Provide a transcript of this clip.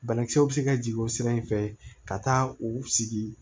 Banakisɛw bɛ se ka jigin o sira in fɛ ka taa u sigi